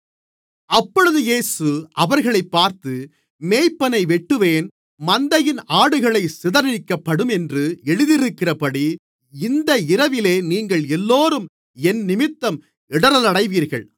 அப்பொழுது இயேசு அவர்களைப் பார்த்து மேய்ப்பனை வெட்டுவேன் மந்தையின் ஆடுகள் சிதறடிக்கப்படும் என்று எழுதியிருக்கிறபடி இந்த இரவிலே நீங்கள் எல்லோரும் என்னிமித்தம் இடறலடைவீர்கள்